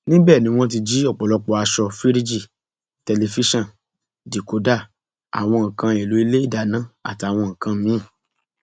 níbẹ ni wọn ti jí ọpọlọpọ aṣọ fíríìjì tẹlifíṣàn díkòdá àwọn nǹkan èèlò ilé ìdáná àtàwọn nǹkan mìín